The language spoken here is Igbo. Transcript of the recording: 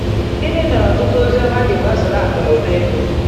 Gịnị mere ọtụtụ ozi ọma ji gbasoro akụ na ụba ego?